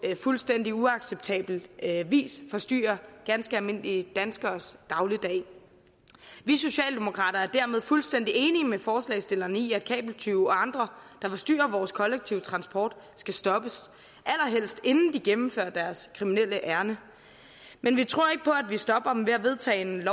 fuldstændig uacceptabel vis forstyrrer ganske almindelige danskeres dagligdag vi socialdemokrater er dermed fuldstændig enige med forslagsstillerne i at kabeltyve og andre der forstyrrer vores kollektive transport skal stoppes allerhelst inden de gennemfører deres kriminelle ærinde men vi tror ikke på at vi stopper dem ved at vedtage et